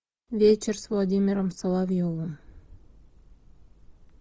вечер с владимиром соловьевым